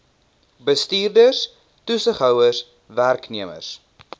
bestuurders toesighouers werknemers